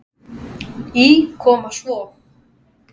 Í Koma svo!